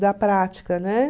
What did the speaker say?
da prática, né?